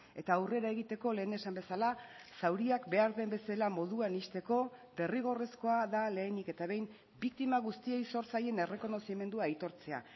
eta aurrera egiteko lehen esan bezala zauriak behar den bezala moduan ixteko derrigorrezkoa da lehenik eta behin biktima guztiei zor zaien errekonozimendua aitortzea